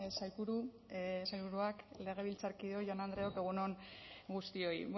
sailburu sailburuak legebiltzarkideok jaun andreok egun on guztioi